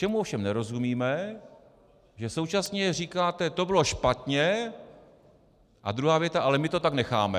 Čemu ovšem nerozumíme, že současně říkáte: to bylo špatně - a druhá věta: ale my to tak necháme.